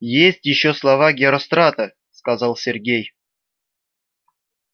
есть ещё слава герострата сказал сергей